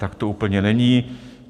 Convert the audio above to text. Tak to úplně není.